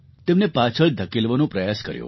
તેમને પાછળ ધકેલવાનો પ્રયાસ કર્યો